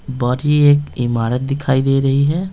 बढ़ी एक इमारत दिखाई दे रही है।